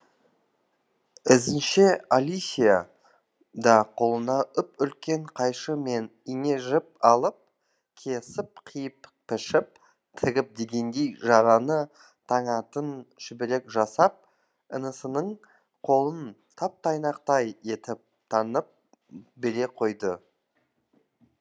ізінше алисия да қолына үп үлкен қайшы мен ине жіп алып кесіп қиып пішіп тігіп дегендей жараны таңатын шүберек жасап інісінің қолын тап тұйнақтай етіп таңып бере қойды